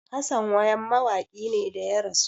Hassan wayam mawakin ne da ya rasu